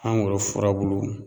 Mangoro furabulu